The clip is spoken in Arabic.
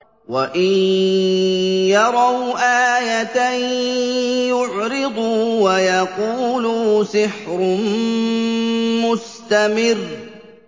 وَإِن يَرَوْا آيَةً يُعْرِضُوا وَيَقُولُوا سِحْرٌ مُّسْتَمِرٌّ